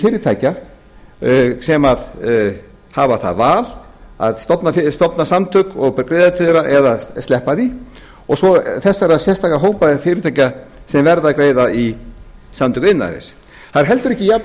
fyrirtækja sem hafa það val að stofna samtök og greiða til þeirra eða sleppa því og svo þessara sérstöku hópa eða fyrirtækja sem verða að greiða í samtök iðnaðarins það er heldur ekki